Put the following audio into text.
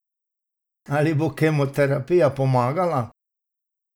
Ali bo kemoterapija pomagala?